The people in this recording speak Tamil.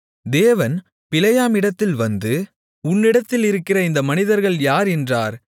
தேவன் பிலேயாமிடத்தில் வந்து உன்னிடத்திலிருக்கிற இந்த மனிதர்கள் யார் என்றார்